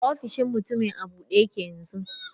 Ofishin mutumin a bude yake yanzu.